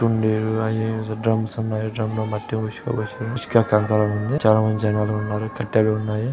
కుండీలు అవి ఇవి డ్రమ్స్ ఉన్నాయి. డ్రమ్స్ ను బట్టి ఇసుక కంకర ఉంది. చాలామంది జనాలు ఉన్నారు. కట్టలు ఉన్నాయి.